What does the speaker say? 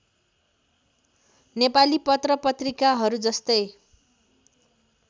नेपाली पत्रपत्रिकाहरू जस्तै